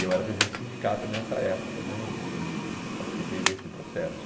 E eu era presidente do sindicato nessa época né e participei desse processo.